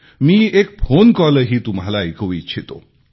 मी एक phone call तुम्हालाही ऐकवू इच्छितो